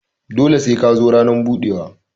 Dole sai ka zo ranan budewa.